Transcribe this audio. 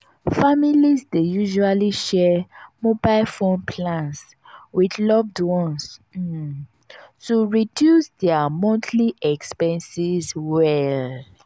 families dey usually share mobile phone plans with loved ones um to reduce dia montly expenses well.